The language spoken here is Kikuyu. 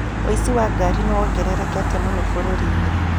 ũici wa ngari nĩ wongererekete mũno bũrũri-inĩ.